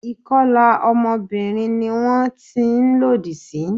Ìkọlà ọmọbìnrin ni wón ti ń lòdì sí.